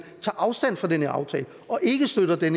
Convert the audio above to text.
tager afstand fra den her aftale og ikke støtter den